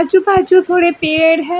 आजु बाजू थोड़े पेड़ है।